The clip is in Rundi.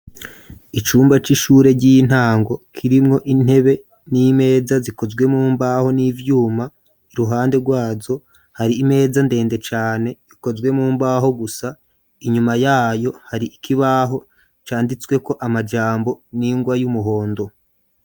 Icumba c'ishure ry'intango kirimwo intebe n'imeza zikozwe mu mbaho n'ivyuma iruhande rwazo hari imeza ndende cane ikozwe mu mbaho gusa inyuma yayo hari ikibaho canditsweko amajambo n'ingwa y'umuhondo.